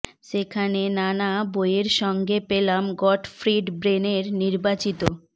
সেখানে নানা বইয়ের সঙ্গে পেলাম গটফ্রিড বেন এর নির্বাচিত